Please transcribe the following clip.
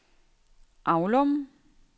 Aulum